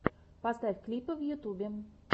поставь клипы в ютьюбе